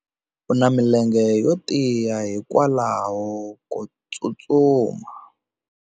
U na milenge yo tiya hikwalaho ko tsustuma.